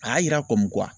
A y'a yira